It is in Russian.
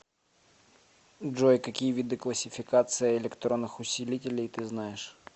джой какие виды классификация электронных усилителей ты знаешь